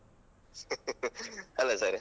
ಅಲ sir.